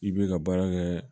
I bɛ ka baara kɛ